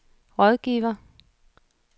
rådgiver